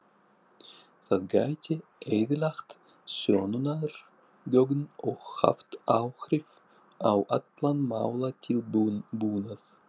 Það gæti eyðilagt sönnunargögn og haft áhrif á allan málatilbúnað.